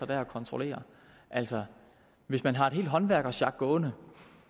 der kontrollerer altså hvis man har et helt håndværkersjak gående